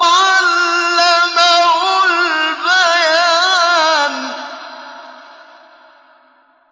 عَلَّمَهُ الْبَيَانَ